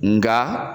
Nka